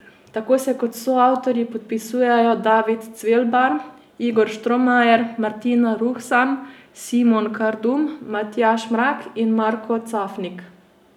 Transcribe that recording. Tako se kot soavtorji podpisujejo David Cvelbar, Igor Štromajer, Martina Ruhsam, Simon Kardum, Matjaž Mrak in Marko Cafnik.